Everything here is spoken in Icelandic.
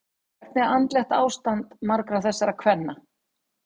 Hvernig er andlegt ástand margra þessara kvenna?